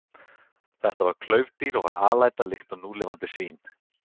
Þetta var klaufdýr og var alæta líkt og núlifandi svín.